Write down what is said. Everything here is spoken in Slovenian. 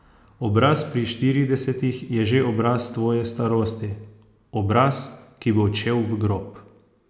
Obraz pri štiridesetih je že obraz tvoje starosti, obraz, ki bo odšel v grob.